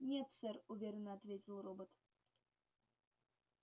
нет сэр уверенно ответил робот